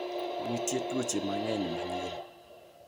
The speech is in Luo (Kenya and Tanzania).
Nitie tuoche mang'eny manyien.